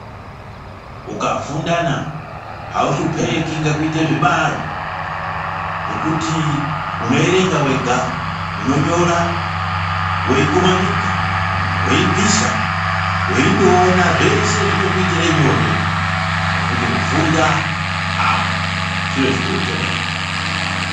Ukafundana hauhlupeki ngekuite zvibalo ngekuti unoerenga vega unonyora voikumanidza voibvisa, voindoona zveshe zvinokuitire nyore. Nokuti kufunda aa chiro chikuru chemene.